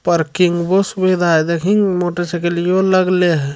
पर मोटरसाइकिल यो लागले है।